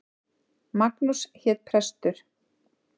Magnús hét prestur.